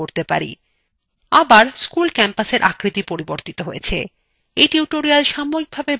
আবার campus schoolwe আকৃতি পরিবর্তিত হয়েছে!